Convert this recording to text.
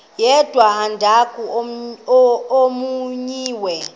yedwa umdaka omenyiweyo